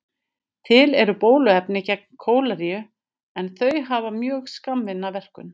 Til eru bóluefni gegn kóleru en þau hafa mjög skammvinna verkun.